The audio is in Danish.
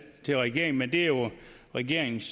til regeringen men det er jo regeringens